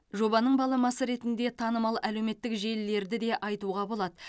жобаның баламасы ретінде танымал әлеуметтік желілерді де айтуға болады